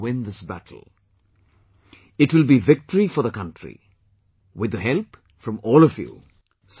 We shall win this battle...it will be victory for the country...with the help from all of you